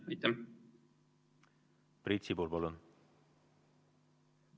Aitäh!